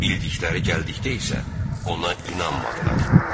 Bildikləri gəldikdə isə, ona inanmadılar.